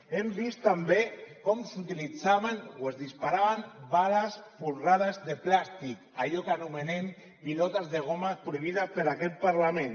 hem vist també com s’utilitzaven o es disparaven bales folrades de plàstic allò que anomenem pilotes de goma prohibides per aquest parlament